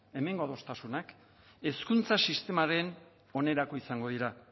hemengo adostasunak hezkuntza sistemaren onerako izango dira